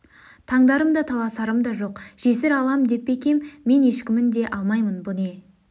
тандарым да таласарым да жоқ жесір алам деп пе екем мен ешкімін де алмаймын бұ не